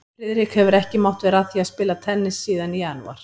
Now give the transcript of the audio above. Friðrik hefur ekki mátt vera að því að spila tennis síðan í janúar